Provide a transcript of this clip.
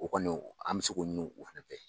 O kɔni an bɛ se k'o